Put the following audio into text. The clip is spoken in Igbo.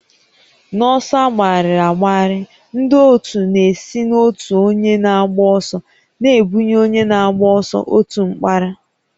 N'ọsọ agbagharị agbagharị, ndị otu na-esi n'otu onye na-agba ọsọ na-ebunye onye na-agba ọsọ otu mkpara